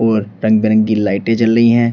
और रंग बिरंगी लाइटे जल रही है।